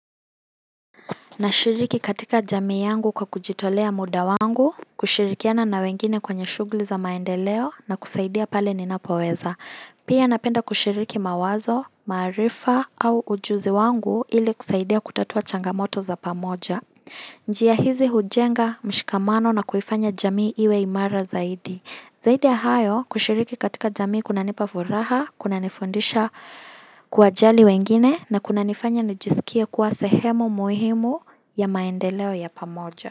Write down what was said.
Nashiriki katika jamii yangu kwa kujitolea muda wangu, kushirikiana na wengine kwenye shughuli za maendeleo na kusaidia pale ninapoweza. Pia napenda kushiriki mawazo, maarifa au ujuzi wangu ili kusaidia kutatua changamoto za pamoja. Njia hizi hujenga mshikamano na kuifanya jamii iwe imara zaidi. Zaidi ya hayo, kushiriki katika jamii kunanipa furaha, kunanifundisha kuwajali wengine, na kunanifanya nijisikie kuwa sehemu muhimu ya maendeleo ya pamoja.